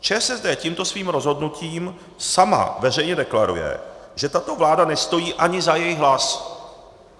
ČSSD tímto svým rozhodnutím sama veřejně deklaruje, že tato vláda nestojí ani za jejich hlas.